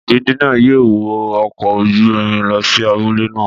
Ìdílé náà yóò wọ ọkọ̀ ojú irin lọ sí abúlé náà.